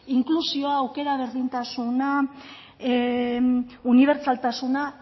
inklusioa aukera berdintasuna unibertsaltasuna